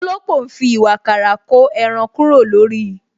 Òlópò ń fi ìwààkàrà ko ẹran kúrò lórí